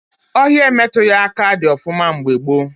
Ọhịa emetughị aka dị ọfụma mgbe gboo